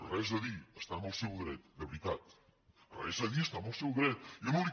res a dir està en el seu dret de veritat res a dir està en el seu dret jo no li